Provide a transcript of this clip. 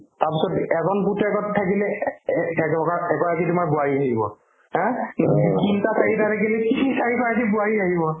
তাৰপিছত এজন পুতেকহঁত থাকিলে এ ~ এ ~ এটকাত ~ এগৰাকী তোমাৰ বোৱাৰী থাকিব haa কিন্তু তিনটা চাৰিটা থাকিলে তিনি চাৰিগৰাকী বোৱাৰী থাকিব